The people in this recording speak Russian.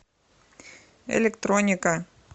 электроника